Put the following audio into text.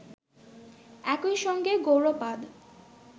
একই সঙ্গে গৌড়পাদ